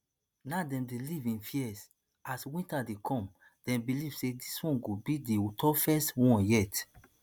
now dem dey live in fear as winter dey come dem believe say dis one go be di toughest one yet